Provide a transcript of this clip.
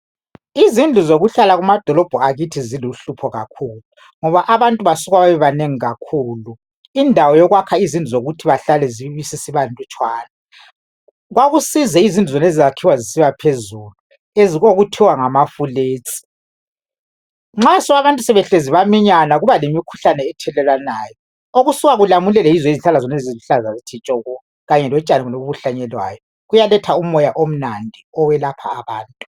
Izindlu zokuhlala kumadolobho akithi ziluhlupho kakhulu ngoba abantu basuka bebebanengi kakhulu, indawo yokwakha izindlu zokuthi bahlale ibisisiba nlutshwana, kwakusize izindlu zonezi ezakhiwa zibe phezulu okuthiwa ngama flats nxa abantu sebehlezi baminyana kuba lemikhuhlane ethelelwanayo , okusuka kulamulele yizihlahla zonezi eziluhlaza tshoko kanye lotshani lobo obuhlanyelwayo, kuyaletha umoya omnandi owelapha abantu.